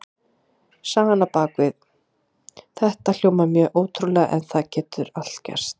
Sagan á bak við þetta hljómar mjög ótrúlega en það getur allt gerst.